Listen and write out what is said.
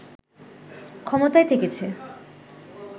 ক্ষমতায় থেকেছে